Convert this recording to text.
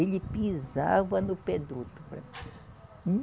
Ele pisava no pé do outro para